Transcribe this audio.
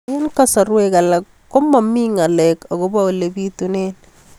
Eng' kasarwek alak ko mami ng'alek akopo ole pitunee